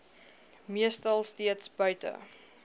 meestal steeds buite